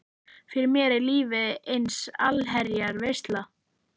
Fyrir mér er lífið ein allsherjar veisla.